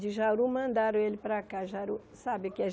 De Jaru mandaram ele para cá. Jaru sabe que é